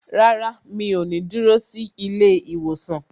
Rárá, mi ò ní dúró sí ilé ìwòsàn